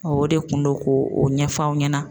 o de kun do ko o ɲɛfɔ aw ɲɛna.